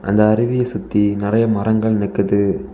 இந்த அருவிய சுத்தி நெறைய மரங்கள் நிக்குது.